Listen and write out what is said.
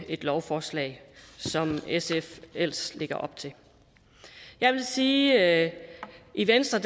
et lovforslag som sf ellers lægger op til jeg vil sige at i venstre